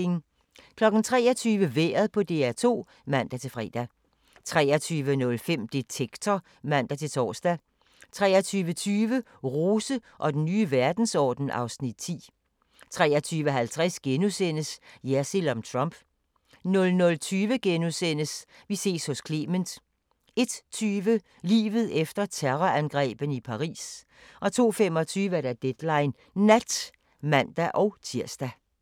23:00: Vejret på DR2 (man-fre) 23:05: Detektor (man-tor) 23:20: Rose og den nye verdensorden (Afs. 10) 23:50: Jersild om Trump * 00:20: Vi ses hos Clement * 01:20: Livet efter terrorangrebene i Paris 02:25: Deadline Nat (man-tir)